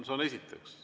Seda esiteks.